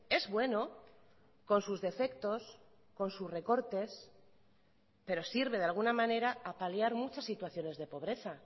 es bueno con sus defectos con sus recortes pero sirve de alguna manera a paliar muchas situaciones de pobreza